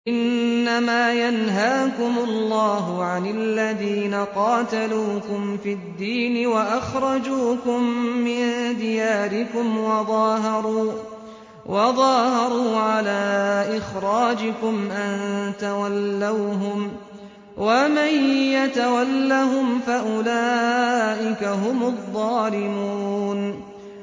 إِنَّمَا يَنْهَاكُمُ اللَّهُ عَنِ الَّذِينَ قَاتَلُوكُمْ فِي الدِّينِ وَأَخْرَجُوكُم مِّن دِيَارِكُمْ وَظَاهَرُوا عَلَىٰ إِخْرَاجِكُمْ أَن تَوَلَّوْهُمْ ۚ وَمَن يَتَوَلَّهُمْ فَأُولَٰئِكَ هُمُ الظَّالِمُونَ